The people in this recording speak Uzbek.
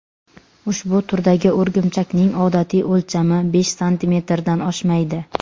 Ushbu turdagi o‘rgimchakning odatiy o‘lchami besh santimetrdan oshmaydi.